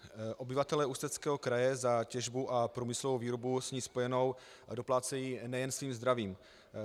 Obyvatelé Ústeckého kraje za těžbu a průmyslovou výrobu s ní spojenou doplácejí nejen svým zdravím.